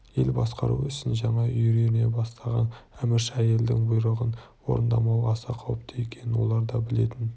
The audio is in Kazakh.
ел басқару ісін жаңа үйрене бастаған әмірші әйелдің бұйрығын орындамау аса қауіпті екенін олар да білетін